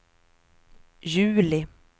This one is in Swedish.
juli